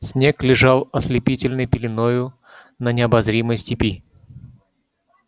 снег лежал ослепительной пеленою на необозримой степи